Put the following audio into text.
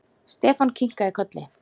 Stefán kinkaði kolli.